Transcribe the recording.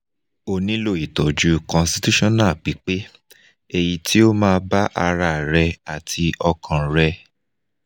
o nílò ìtọ́jú constitutional pípé èyí tí ó ma ba ara rẹ̀ àti ọkàn rẹ̀